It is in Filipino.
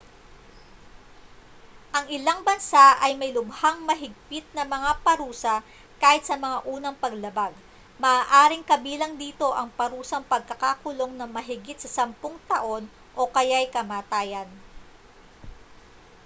ang ilang bansa ay may lubhang mahigpit na mga parusa kahit sa mga unang paglabag maaaring kabilang dito ang parusang pagkakakulong ng mahigit sa 10 taon o kaya'y kamatayan